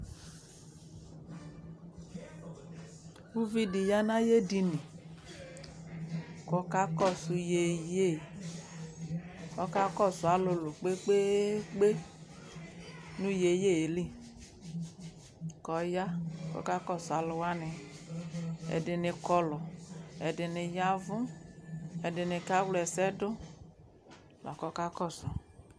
Uvi dɩ ya nʋ ayʋ edini kʋ ɔkakɔsʋ yeye Ɔkakɔsʋ alʋlʋ kpe-kpe -kpe nʋ yeye yɛ li kʋ ɔya kʋ ɔkakɔsʋ alʋ wanɩ Ɛdɩnɩ kɔlʋ, ɛdɩnɩ ya ɛvʋ, ɛdɩnɩ kawla ɛsɛ dʋ la kʋ ɔkakɔsʋ